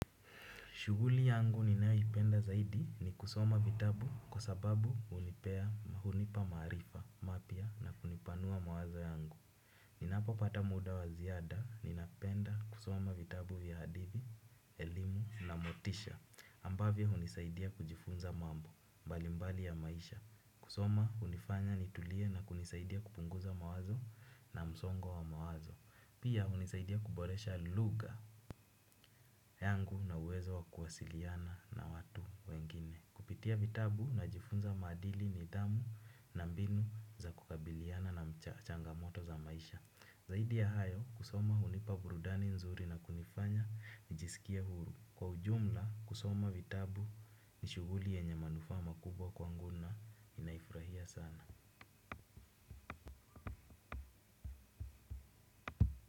Shughuli yangu ninayoipenda zaidi ni kusoma vitabu kwa sababu hunipea ama hunipa maarifa mapya na kunipanua mawazo yangu. Ninapopata muda wa ziada ninapenda kusoma vitabu vya hadithi, elimu na motisha ambavyo hunisaidia kujifunza mambo mbalimbali ya maisha. Kusoma hunifanya nitulie na kunisaidia kupunguza mawazo na msongo wa mawazo. Pia hunisaidia kuboresha lugha yangu na uwezo wa kuwasiliana na watu wengine. Kupitia vitabu najifunza maadili nidhamu na mbinu za kukabiliana na changamoto za maisha. Zaidi ya hayo kusoma hunipa burudani nzuri na kunifanya nijisikie huru. Kwa ujumla kusoma vitabu ni shughuli yenye manufaa makubwa kwangu na ninaifurahia sana.